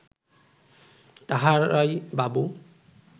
তাঁহারাই বাবু